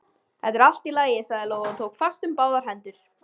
Þetta er allt í lagi, sagði Lóa og tók fast um báðar hendur